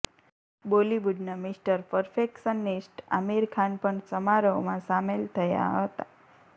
બોલીવુડનાં mister perfectionist Aamir Khan પણ સમારોહમાં સામેલ થયા હતા